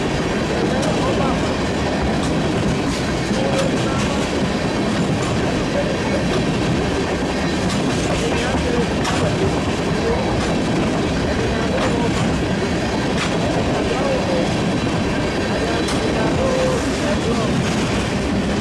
Ɛmɛ lɛ ɔbɛ ava, kiwuɛ ya du na ya vaAluvi aluvi la ke ku iwueɛdini azɛ itsu la ke ku iwue, ɛdini adu ɔwlɔmɔ, ɛdini adu awu vɛ, ɛdini adu ɛblɔɔ